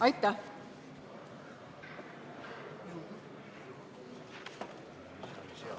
Aitäh!